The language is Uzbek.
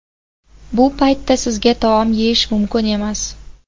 Bu paytda sizga taom yeyish mumkin emas.